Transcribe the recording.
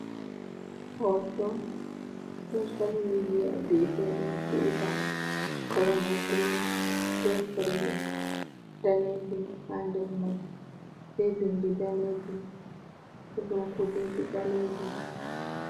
Hoto soshal midiya bi’eteɗum tuwita. Kalamai ni blu be kala danejum. Ha nder mai bo be bindi danejum ɗo dau kujeji ɓalejum.